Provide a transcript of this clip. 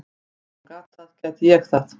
Ef hún gat það, gæti ég það.